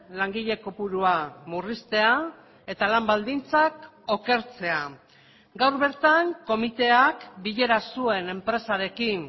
langile kopurua murriztea eta lan baldintzak okertzea gaur bertan komiteak bilera zuen enpresarekin